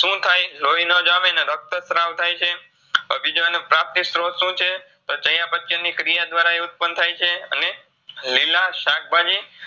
શુંથાય? લોઈ નો જાવે ને રક્તસ્ત્રાવ થાયછે. હવે બીજો એનું પ્રાપ્તિસ્ત્રોત શુંછે? ચાઈયા પચ્ચનની ક્રિયા દ્વારા એ ઉત્પન થાયછે. લીલા શાકભાજી